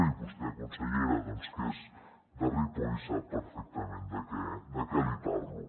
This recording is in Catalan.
i vostè consellera que és de ripoll sap perfectament de què li parlo